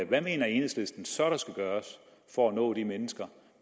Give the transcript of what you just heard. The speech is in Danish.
hvad mener enhedslistens så der skal gøres for at nå de mennesker